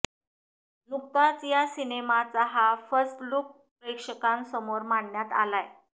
नुकताच या सिनेमाचा हा फर्स्ट लूक प्रेक्षकांसमोर मांडण्यात आलाय